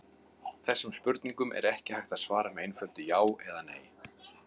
Þessum spurningum er ekki hægt að svara með einföldu já eða nei.